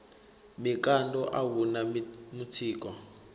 mikando a hu na mutsiko